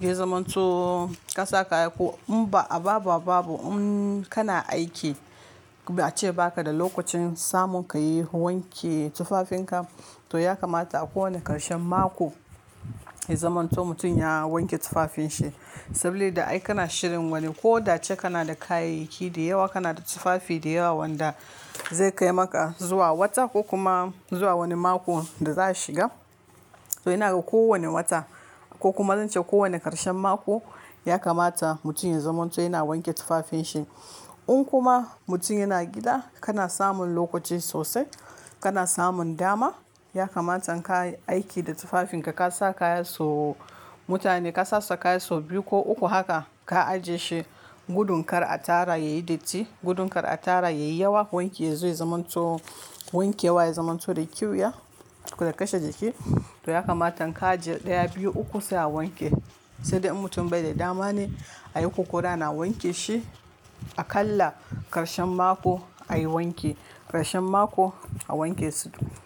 ya zaman to ka sa kaya ko in ba a baba babu, kana aiki ba a ce ba ka da lokacin samun ka yi wanke tufafinka. To ya kamata a kowane ƙarshen mako ya zamanto mutum ya wanke tufafinshi sabili da ai kana shirin wani ko da ce kana da kayayyaki da yawa, kana da tufafi da yawa wanda zai kai maka zuwa wata ko kuma zuwa wani mako da za shiga. To ina ga ko wane wata ko kuma zan ce ko wane ƙarshen mako ya kamata mutun ya zamto yana wanke tufafin shi un kuma mutum yana gida kana samun lokaci sosai, kana samun dama ya kamata ka aiki da tufafinka. Ka sa kaya so mutane ka sasa kaya so biyu ko uku haka ka ajiye shi gudun kar a tara yayi datti gudun kar a tara yayi yawa wanki yazo zamanto wanke wa ya zamanto da ƙyuya ko da kashe jiki. To ya kamata ka ajiye ɗaya, biyu, uku sai a wanke. Sai dai in mutum bai da dama ne ayi ko ƙwari ana wanke shi aƙalla ƙarshen mako ayi wanke ƙarshen mako a wanke su.